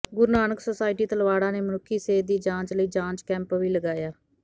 ਗੁਰੂ Nanak society Talwara ਨੇ ਮਨੁੱਖੀ ਸਿਹਤ ਦੀ ਜਾਂਚ ਲਈ ਜਾਂਚ ਕੈਂਪ ਵੀ ਲਗਾਇਆ